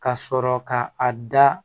Ka sɔrɔ ka a da